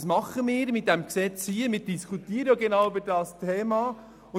Dies tun wir mit diesem Gesetz und über genau dieses Thema diskutieren wir.